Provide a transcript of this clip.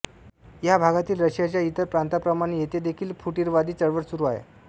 ह्या भागातील रशियाच्या इतर प्रांतांप्रमाणे येथे देखील फुटीरवादी चळवळ सुरू आहे